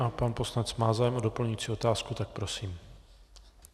A pan poslanec má zájem o doplňující otázku, tak prosím.